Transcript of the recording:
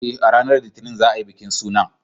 Eh, a ranar Litinin za a yi bikin sunan.